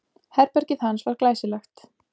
Herbergið hans var glæsilegt.